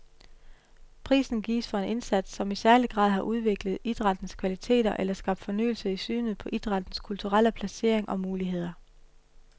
Prisen gives for en indsats, som i særlig grad har udviklet idrættens kvaliteter eller skabt fornyelse i synet på idrættens kulturelle placering og muligheder.